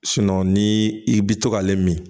ni i bi to k'ale min